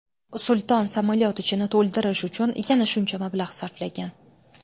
Sulton samolyot ichini to‘ldirish uchun yana shuncha mablag‘ sarflagan.